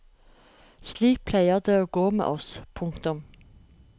Slik pleier det å gå med oss. punktum